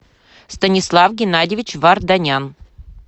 станислав геннадьевич варданян